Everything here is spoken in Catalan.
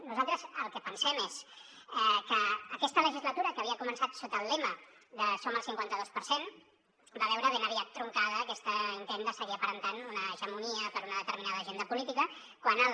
nosaltres el que pensem és que aquesta legislatura que havia començat sota el lema de som el cinquanta dos per cent va veure ben aviat truncat aquest intent de seguir aparentant una hegemonia per una determinada agenda política quan el